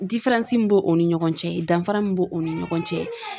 diferansi min b'o o ni ɲɔgɔn cɛ danfara min b'o ni ɲɔgɔn cɛ